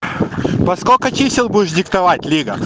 по сколько чисел будешь диктовать лига